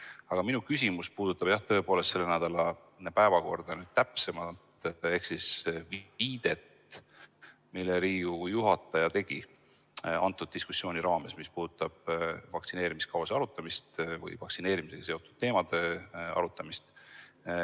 Aga minu küsimus puudutab tõepoolest selle nädala päevakorda täpsemalt ehk viidet, mille Riigikogu juhataja tegi äsja toimunud diskussiooni raames, nimelt vaktsineerimiskava arutamine või vaktsineerimisega seotud teemade arutamine.